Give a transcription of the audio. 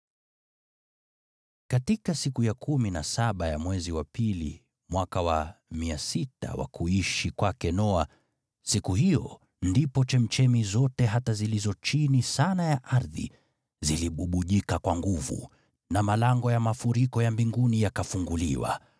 Katika siku ya kumi na saba ya mwezi wa pili mwaka wa 600 wa kuishi kwake Noa, siku hiyo ndipo chemchemi zote hata zilizo chini sana ya ardhi zilibubujika kwa nguvu, na malango ya mafuriko ya mbinguni yakafunguliwa.